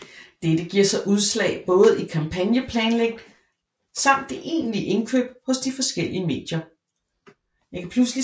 Dette giver sig udslag både i kampagneplanlægning samt det egentlige indkøb hos de forskellige medier